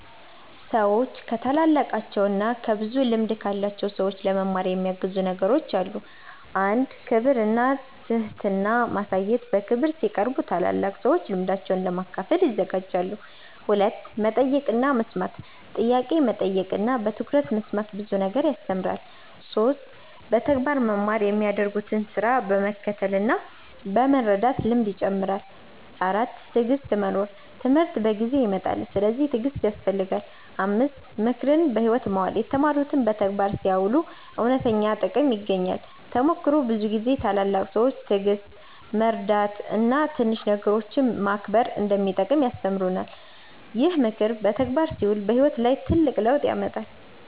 ሰዎች ከታላላቃቸው እና ከብዙ ልምድ ያላቸው ሰዎች ለመማር የሚያግዙ ነገሮች አሉ። 1. ክብር እና ትህትና ማሳየት በክብር ሲቀርቡ ታላላቅ ሰዎች ልምዳቸውን ለመካፈል ይዘጋጃሉ። 2. መጠየቅ እና መስማት ጥያቄ መጠየቅ እና በትኩረት መስማት ብዙ ነገር ያስተምራል። 3. በተግባር መማር የሚያደርጉትን ስራ በመከተል እና በመርዳት ልምድ ይጨምራል። 4. ትዕግሥት መኖር ትምህርት በጊዜ ይመጣል፤ ስለዚህ ትዕግሥት ያስፈልጋል። 5. ምክርን በሕይወት ማዋል የተማሩትን በተግባር ሲያውሉ እውነተኛ ጥቅም ይገኛል። ተሞክሮ ብዙ ጊዜ ታላላቅ ሰዎች ትዕግሥት፣ መርዳት እና ትንሽ ነገሮችን መከብር እንደሚጠቅም ይማሩናል። ይህ ምክር በተግባር ሲውል በሕይወት ላይ ትልቅ ለውጥ ያመጣል።